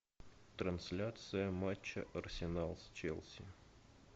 трансляция матча арсенал с челси